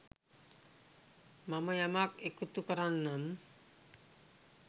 මම යමක් එකතු කරන්නම්.